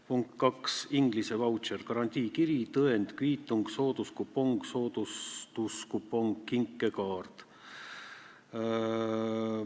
Punkt kaks, inglise vautšer – garantiikiri, tõend, kviitung, sooduskupong, soodustuskupong, kinkekaart.